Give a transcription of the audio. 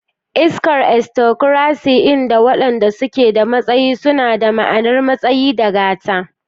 Iskar aristocracy, inda waɗanda suke da matsayi suna da ma'anar matsayi da gata.